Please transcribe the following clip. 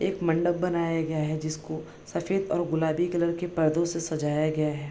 एक मंडप बनाया गया है जिसको सफ़ेद और गुलाबी कलर के पर्दों से सजाया गया है।